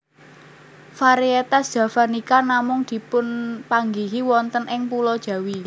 Variétas javanica namung dipunpanggihi wonten ing pulo Jawi